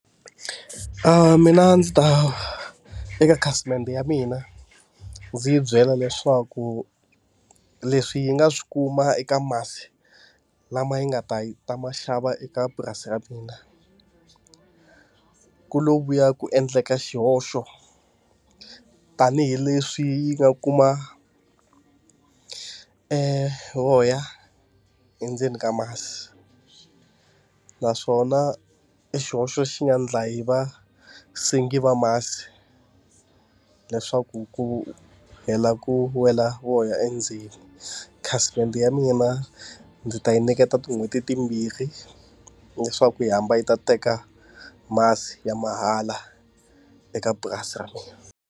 mina ndzi ta eka khasimende ya mina, ndzi yi byela leswaku leswi yi nga swi kuma eka masi lama yi nga ta yi ta ma xava eka purasi ra mina, ku lo vuya ku endleka xihoxo, tanihileswi yi nga kuma voya endzeni ka masi. Naswona i xihoxo xi nga endla hi va sengi va masi, leswaku ku hela ku wela voya endzeni. Khasimende ya mina ndzi ta yi nyiketa tin'hweti timbirhi leswaku yi hamba yi ta teka masi ya mahala, eka purasi ra mina.